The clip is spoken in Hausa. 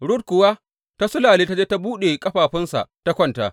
Rut kuwa ta sulalle ta je ta buɗe ƙafafunsa ta kwanta.